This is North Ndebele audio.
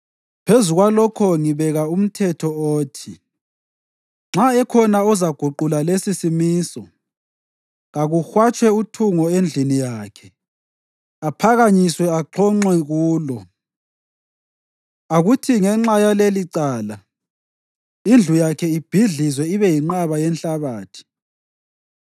Phezu kwalokho ngibeka umthetho othi nxa ekhona ozaguqula lesisimiso, kakuhwatshwe uthungo endlini yakhe aphakanyiswe axhonxwe kulo. Akuthi ngenxa yalelicala indlu yakhe ibhidlizwe ibe yinqwaba yenhlabathi.